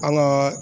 An ka